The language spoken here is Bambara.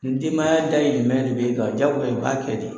Ni denbaya dahirimɛ de bɛ e kan jagoya i b'a kɛ di.